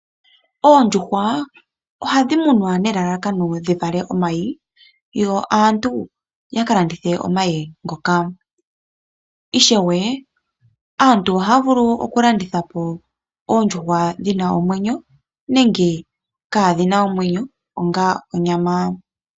Oondjuhwa ohadhi munwa nelalakano dhi vale omayi. Yo aantu ya ka landithe omayi ngoka. Ishewe aantu ohaya vulu okulanditha po oondjuhwa dhi na omwenyo nenge kaadhi na omwenyo onga onyama.